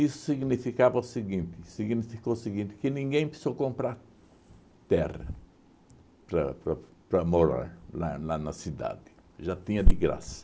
significava o seguinte, significou o seguinte que ninguém precisou comprar terra para para morar lá na na cidade, já tinha de graça.